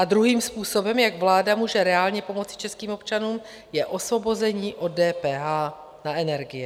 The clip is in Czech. A druhým způsobem, jak vláda může reálně pomoci českým občanům, je osvobození od DPH na energie.